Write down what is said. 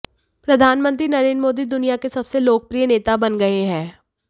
प्रधानमंत्री नरेंद्र मोदी दुनिया के सबसे लोकप्रिय नेता बन गए हैं